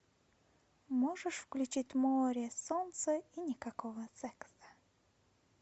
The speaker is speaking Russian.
можешь включить море солнце и никакого секса